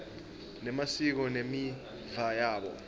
nemasiko nemiva yabo